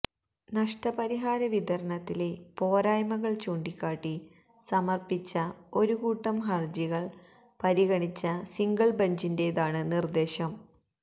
നഷ്ടപരിഹാര വിതരണത്തിലെ പോരായ്മകൾ ചൂണ്ടികാട്ടി സമർപ്പിച്ച ഒരു കൂട്ടം ഹര്ജികൾ പരിഗണിച്ച സിംഗിൾ ബഞ്ചിന്റെതാണ് നിർദ്ദേശം